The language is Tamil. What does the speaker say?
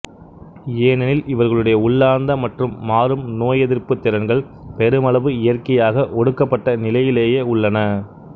ஏனெனில் இவர்களுடைய உள்ளார்ந்த மற்றும் மாறும் நோயெதிர்ப்புத் திறன்கள் பெருமளவு இயற்கையாக ஒடுக்கப்பட்ட நிலையிலேயே உள்ளன